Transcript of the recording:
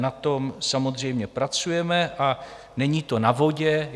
Na tom samozřejmě pracujeme a není to na vodě.